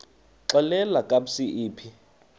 xelel kabs iphi